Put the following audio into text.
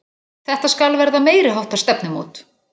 Þetta skal verða meiriháttar stefnumót!